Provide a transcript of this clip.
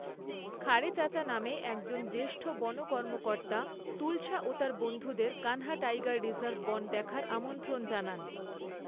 খারে চাচা নামে একজন জ্যেষ্ঠ বন কর্মকর্তা তুলসা ও তার বন্ধুদের কানহা টাইগার রিজার্ভ বন দেখার আমন্ত্রণ জানান।